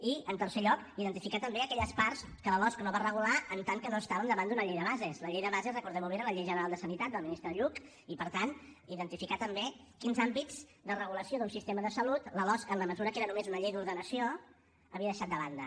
i en tercer lloc identificar també aquelles parts que la losc no va regular en tant que no estàvem davant d’una llei de bases la llei de bases recordem ho bé era la llei general de sanitat del ministre lluch i per tant identificar també quins àmbits de regulació d’un sistema de salut la losc en la mesura que era només una llei d’ordenació havia deixat de banda